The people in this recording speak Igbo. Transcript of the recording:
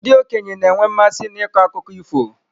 Ndị okenye na-enwe mmasị n'ịkọ akụkọ ifo.